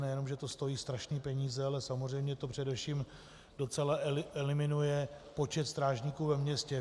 Nejenom že to stojí strašné peníze, ale samozřejmě to především docela eliminuje počet strážníků ve městě.